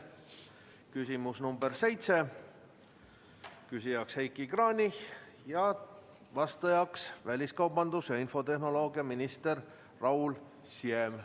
Küsimus nr 7, küsija on Heiki Kranich, vastaja on väliskaubandus- ja infotehnoloogiaminister Raul Siem.